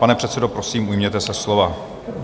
Pane předsedo, prosím, ujměte se slova.